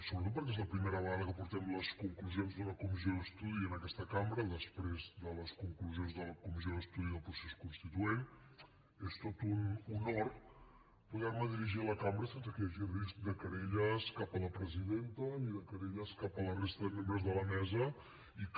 sobretot perquè és la primera vegada que portem les conclusions d’una comissió d’estudi a aquesta cambra després de les conclusions de la comissió d’estudi del procés constituent és tot un honor poder me dirigir a la cambra sense que hi hagi risc de querelles cap a la presidenta ni de querelles cap a la resta de membres de la mesa i que